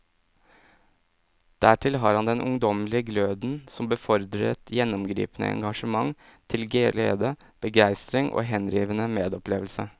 Dertil har han den ungdommelige gløden som befordrer et gjennomgripende engasjement til glede, begeistring og henrivende medopplevelse.